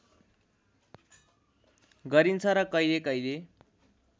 गरिन्छ र कहिले कहिले